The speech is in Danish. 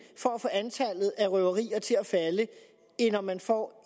for at få antallet af røverier til at falde end om man får